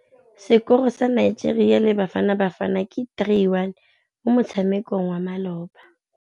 Sekôrô sa Nigeria le Bafanabafana ke 3-1 mo motshamekong wa malôba.